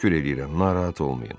Təşəkkür eləyirəm, narahat olmayın.